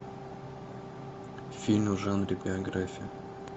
фильм в жанре биография